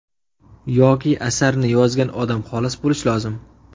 Yoki asarni yozgan odam xolis bo‘lish lozim.